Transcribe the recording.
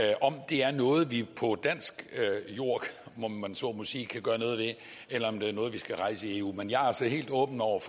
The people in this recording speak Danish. af om det er noget vi på dansk jord om man så må sige kan gøre noget ved eller om det er noget vi skal rejse i eu men jeg er altså helt åben over